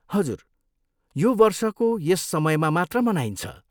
हजुर, यो वर्षको यस समयमा मात्र मनाइन्छ।